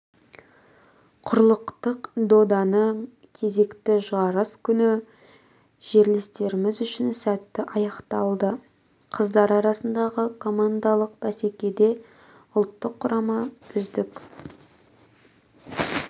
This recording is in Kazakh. құрлықтық доданың кезекті жарыс күні жерлестеріміз үшін сәтті аяқталды қыздар арасындағы командалық бәсекеде ұлттық құрама үздік